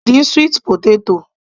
A lè dín sweet potatoes